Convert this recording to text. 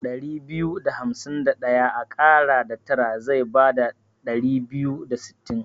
Ɗari biyu da hamsi Ɗaya a ƙara da tara zai bada Ɗari biyu da sittin.